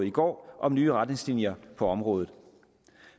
i går om nye retningslinjer på området